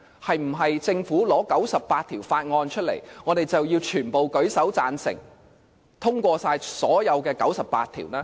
是否政府提交98項法案，我們便要全部舉手贊成通過所有98項法案？